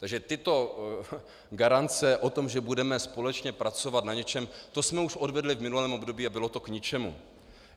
Takže tyto garance o tom, že budeme společně pracovat na něčem, to jsme už odvedli v minulém období - a bylo to k ničemu.